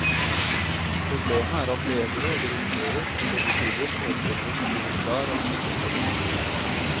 Problemet er at ledere og direktører på begge sider foretrekker å styre klar av slike spørsmål.